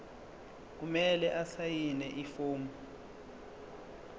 kumele asayine ifomu